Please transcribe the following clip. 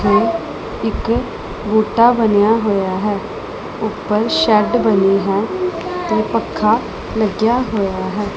ਇਹ ਇੱਕ ਬੂਟਾ ਬਣਿਆ ਹੋਇਆ ਹੈ ਉਪਰ ਸ਼ੈੱਡ ਬਣੀ ਹੈ ਤੇ ਪੱਖਾ ਲੱਗਿਆ ਹੋਇਆ ਹੈ।